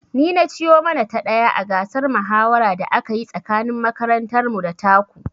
Ni na ci yo mana ta ɗaya a gasar mahawara da aka yi tsakanin makarantar mu da ta ku